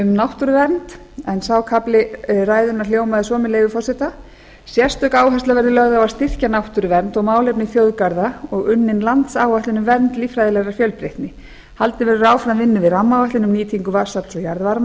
náttúruvernd sá kafli ræðunnar hljómaði svo með leyfi forseta sérstök áhersla verði lögð á að styrkja náttúruvernd og málefni þjóðgarða og unnin landsáætlun um vernd líffræðilegrar fjölbreytni haldið verður áfram rammaáætlun um nýtingu vatnsafls og jarðvarma þar